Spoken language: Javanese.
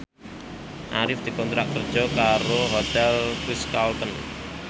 Arif dikontrak kerja karo Hotel Ritz Carlton